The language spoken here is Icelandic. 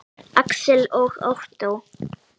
Alex og Ottó.